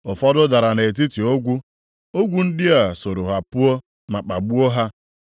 Ụfọdụ dara nʼetiti ogwu, ogwu ndị a sooro ha puo ma kpagbuo ha.